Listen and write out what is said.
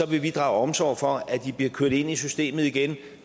vil vi drage omsorg for at de bliver kørt ind i systemet igen